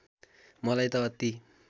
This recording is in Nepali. मलाई त अति